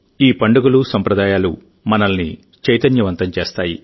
ఈ పండుగలు సంప్రదాయాలు మనల్ని చైతన్యవంతం చేస్తాయి